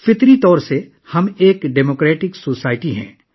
فطرتاً ہم ایک جمہوری معاشرہ ہیں